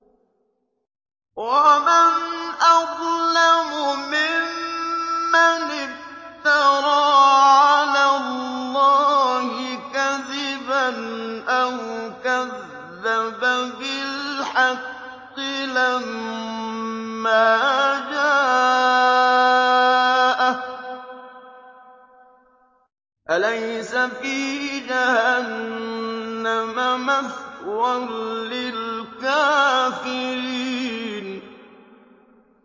وَمَنْ أَظْلَمُ مِمَّنِ افْتَرَىٰ عَلَى اللَّهِ كَذِبًا أَوْ كَذَّبَ بِالْحَقِّ لَمَّا جَاءَهُ ۚ أَلَيْسَ فِي جَهَنَّمَ مَثْوًى لِّلْكَافِرِينَ